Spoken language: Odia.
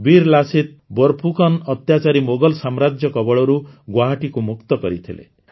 ବୀର ଲାସିତ ବୋରପୁକନ୍ ଅତ୍ୟାଚାରୀ ମୋଗଲ ସାମ୍ରାଜ୍ୟ କବଳରୁ ଗୁଆହାଟୀକୁ ମୁକ୍ତ କରିଥିଲେ